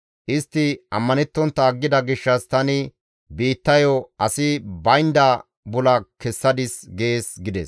Istti ammanettontta aggida gishshas tani biittayo asi baynda bula kessadis› gees» gides.